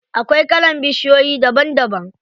Akwai kalan bishiyoyi daban daban.